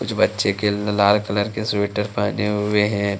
कुछ बच्चे खेल में लाल कलर के स्वेटर पहने हुए हैं।